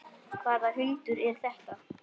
Hvaða hundur er þetta?